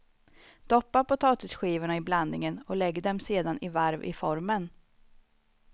Doppa potatisskivorna i blandningen och lägg dem sedan i varv i formen.